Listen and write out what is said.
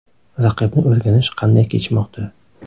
Raqibni o‘rganish qanday kechmoqda?